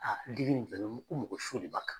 digi ni dɛnɛ ko mɔgɔ su de b'a kan